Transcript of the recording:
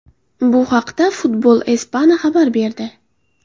Bu haqda Football Espana xabar berdi .